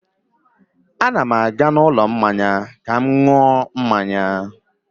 A na m aga n'ụlọ mmanya ka m ṅụọ ihe ọṅụṅụ